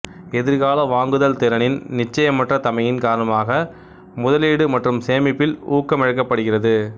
எதிர்கால வாங்குதல் திறனின் நிச்சயமற்ற தமையின் காரணமாக முதலீடு மற்றும் சேமிப்பில் ஊக்கமிழக்கப்படுகிறது